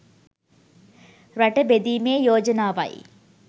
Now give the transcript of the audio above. රට බෙදීමේ යෝජනාවයි.